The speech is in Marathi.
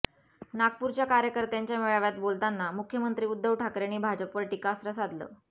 नागपूरच्या कार्यकर्त्यांच्या मेळाव्यात बोलताना मुख्यमंत्री उद्धव ठाकरेंनी भाजपवर टीकास्त्र साधलं